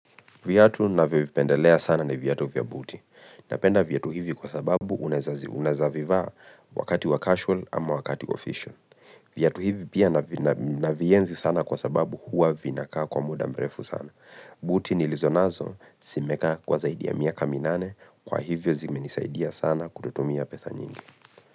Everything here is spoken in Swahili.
Viatu navyovipendelea sana na viatu vya buti. Napenda viatu hivi kwa sababu unaeza vivaa wakati wa casual ama wakati official. Viatu hivi pia navienzi sana kwa sababu huwa vinakaa kwa muda mrefu sana. Buti nilizonazo zimekaa kwa zaidi ya miaka minane kwa hivyo zimenisaidia sana kutotumia pesa nyingi.